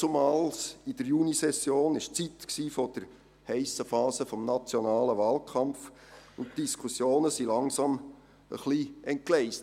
Damals, in der Sommersession, war es die Zeit der heissen Phase des nationalen Wahlkampfs, und die Diskussionen entgleisten langsam ein wenig.